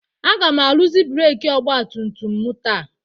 Aga m arụzi breeki ọgba tum tum m taa.